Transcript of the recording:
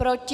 Proti?